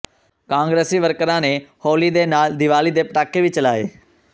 ਕਾਂਗਰਸੀ ਵਰਕਰਾਂ ਨੇ ਹੋਲੀ ਦੇ ਨਾਲ ਦੀਵਾਲੀ ਦੇ ਪਟਾਕੇ ਵੀ ਚਲਾਏ